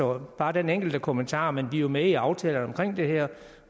var bare den enkelte kommentar men vi er jo med i aftalerne om det her